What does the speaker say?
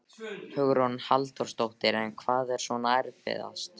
Hugrún Halldórsdóttir: En hvað er svona erfiðast?